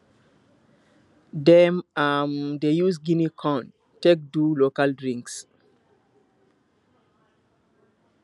dem um dey use guinea corn take do local drinks